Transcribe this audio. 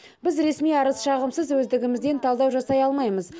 біз ресми арыз шағымсыз өздігімізден талдау жасай алмаймыз